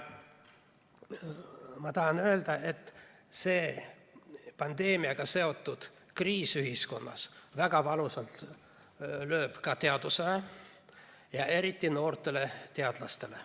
Tahan öelda, et see pandeemiaga seotud kriis ühiskonnas lööb väga valusalt ka teaduse ja eriti noorte teadlaste pihta.